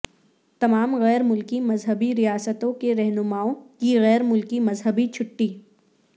تمام غیر ملکی مذہبی ریاستوں کے رہنماوں کی غیر ملکی مذہبی چھٹی